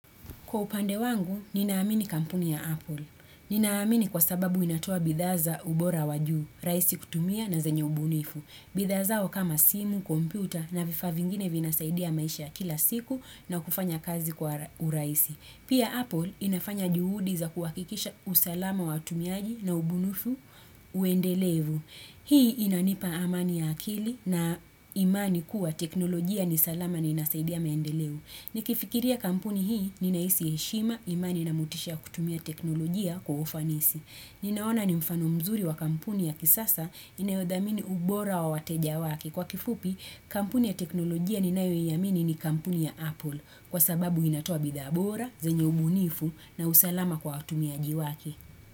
Kwa upande wangu, ninaamini kampuni ya Apple. Ninaamini kwa sababu inatoa bidhaa za ubora wa juu, rahisi kutumia na zenye ubunifu. Bidhaa zao kama simu, komputa na vifaa vingine vinasaidia maisha kila siku na kufanya kazi kwa urahisi. Pia Apple inafanya juhudi za kuhakikisha usalama wa watumiaji na ubunifu uendelevu. Hii inanipa amani ya akili na imani kuwa teknolojia ni salama na inasaidia maendeleo. Nikifikiria kampuni hii ninahisi heshima imani na motisha ya kutumia teknolojia kwa ufanisi. Ninaona ni mfano mzuri wa kampuni ya kisasa inayodhamini ubora wa wateja wake. Kwa kifupi, kampuni ya teknolojia ninayoiamini ni kampuni ya Apple. Kwa sababu inatoa bidhaa bora, zenye ubunifu na usalama kwa watumiaji wake.